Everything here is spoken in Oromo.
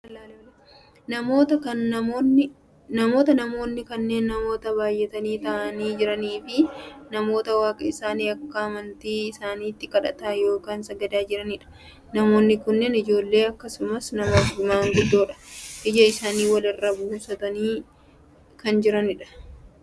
Namoota, namoonni kunneen namoota baayyatanii taa'aanii jiraniifi namoota waaqa isaanii akka amantii isaaniitti kadhataa yookaan sagadaa jirani dha. Namoonni kunneen ijoollee akkasumas nama maanguddoodha. Ija isaanii wal irra buusaniit kan jiranudha.